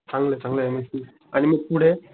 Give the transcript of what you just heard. चांगलंय चांगलंय M S C आणि मग पुढे